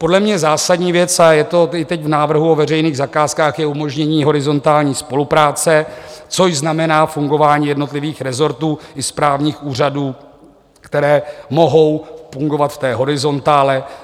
Podle mě zásadní věc, a je to i teď v návrhu o veřejných zakázkách, je umožnění horizontální spolupráce, což znamená fungování jednotlivých resortů i správních úřadů, které mohou fungovat v té horizontále.